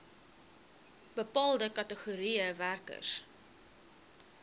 bepaalde kategorieë werkers